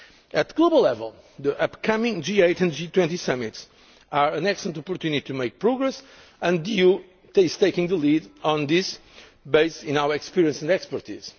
At global level, the upcoming G8 and G20 summits are an excellent opportunity to make progress, and the EU is taking the lead in this, based on our experience and expertise.